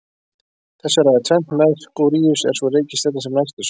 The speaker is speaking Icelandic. Þessu ræður tvennt: Merkúríus er sú reikistjarna sem næst er sólinni.